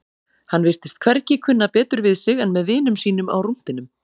Hann virtist hvergi kunna betur við sig en með vinum sínum á rúntinum.